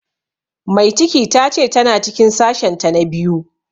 Mai ciki ta ce ta na cikin sashen ta na biyu